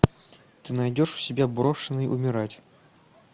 ты найдешь у себя брошенный умирать